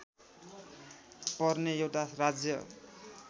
पर्ने एउटा राज्य